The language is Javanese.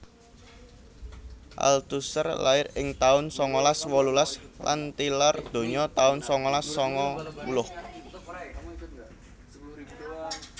Althusser lair ing taun sangalas wolulas lan tilar donya taun sangalas sangang puluh